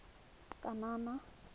kanana